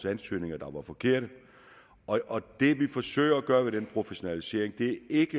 ansøgningerne var forkerte det vi forsøger at gøre ved den professionalisering er ikke